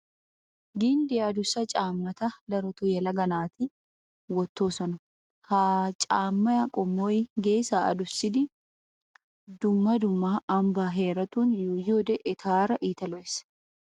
Ginddiya adussa caammata daroto yelaga macca naati wottoosona. Ha caammaa qommoy geesaa adusidi dumma dumma ambbaa heeratun yuuyiyoode etaara iita lo"ees.